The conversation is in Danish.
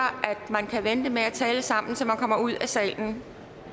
at man kan vente med at tale sammen til man kommer ud af salen